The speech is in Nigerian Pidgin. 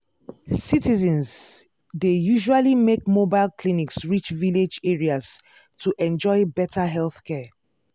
citizens dey usually make mobile clinics reach village areas to enjoy better healthcare.